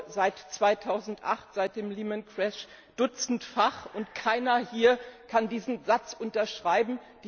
Ich glaube seit 2008, seit dem Lehman Crash dutzendfach, und keiner hier kann diesen Satz unterschreiben.